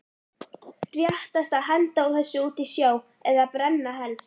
Réttast að henda þessu út í sjó eða brenna helst.